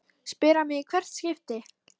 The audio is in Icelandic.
spyr hann mig í hvert skipti.